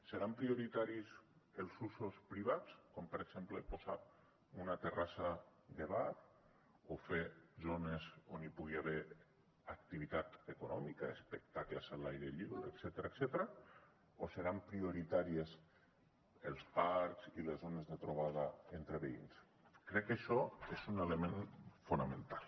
seran prioritaris els usos privats com per exemple posar una terrassa de bar o fer zones on hi pugui haver activitat econòmica espectacles a l’aire lliure etcètera o seran prioritàries els parcs i les zones de trobada entre veïns crec que això és un element fonamental